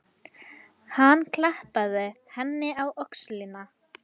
Hann klappaði henni á öxlina.